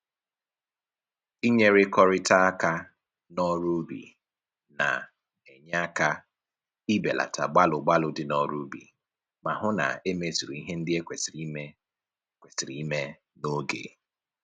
Inyerikọrịta aka n'ọrụ ubi na-enye aka ibelata gbalụ gbalụ dị n'ọrụ ubi ma hụ na e mezuru ihe ndị e kwesịrị ime kwesịrị ime n'oge